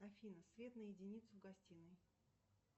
афина свет на единицу в гостиной